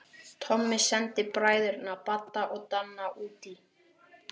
Tommi sendi bræðurna Badda og Danna útí